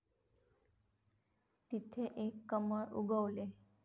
तिथे एक कमळ उगवले.